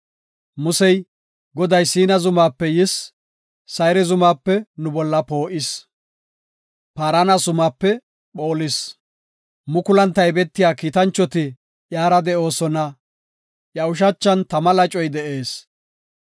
Musey, “Goday Siina zumaape yis; Sayre zumaape nu bolla poo7is. Paarana zumaape phoolis. Mukulan taybetiya kiitanchoti iyara de7oosona; Iya ushachan tama lacoy de7ees.